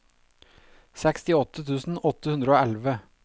sekstiåtte tusen åtte hundre og elleve